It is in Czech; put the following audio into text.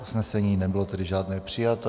Usnesení nebylo tedy žádné přijato.